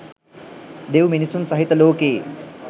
දෙව් මිනිසුන් සහිත ලෝකයේ